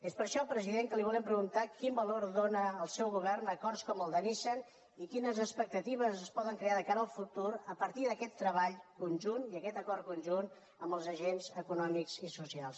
és per això president que li volem preguntar quin valor dóna el seu govern a acords com el de nissan i quines expectatives es poden crear de cara al futur a partir d’aquest treball conjunt i aquest acord conjunt amb els agents econòmics i socials